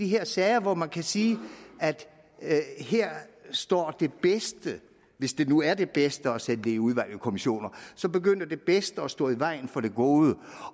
de her sager hvorom man kan sige at her står det bedste hvis det nu er det bedste at sende det i udvalg og kommissioner så begynder det bedste at stå i vejen for det gode